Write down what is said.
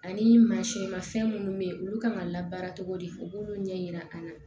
Ani mansin ma fɛn minnu bɛ yen olu kan ka labaara cogo di u b'olu ɲɛ yira an na